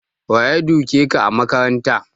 Waye duke ka a makaranta?